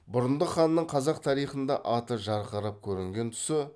бұрындық ханның қазақ тарихында аты жарқырап көрінген тұсы